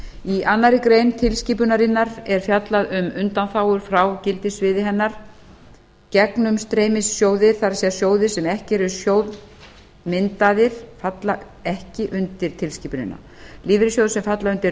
í annarri grein tilskipunarinnar er fjallað um undanþágur frá gildissviði hennar gegnumstreymissjóðir það er sjóðir sem eru ekki sjóðmyndaðir falla ekki undir tilskipunina lífeyrissjóðir sem falla undir